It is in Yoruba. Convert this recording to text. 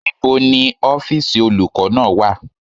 Níbo ni ọ́fìsì olùkọ́ náà wà?